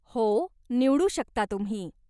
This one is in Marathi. हो, निवडू शकता तुम्ही.